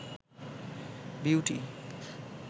beauty